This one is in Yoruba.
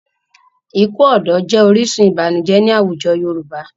Ikú ọ̀dọ́ jẹ́ orísun ìbànújẹ́ ní àwùjọ Yorùbá.